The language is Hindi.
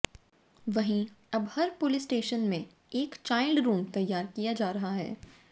वहीं अब हर पुलिस स्टेशन में एक चाइल्ड रूम तैयार किया जा रहा है